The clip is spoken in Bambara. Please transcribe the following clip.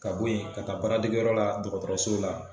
Ka bo yen , ka taa baara degiyɔrɔ la dɔgɔtɔrɔso la.